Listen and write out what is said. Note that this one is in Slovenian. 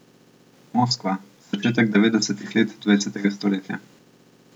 Moskva, začetek devetdesetih let dvajsetega stoletja.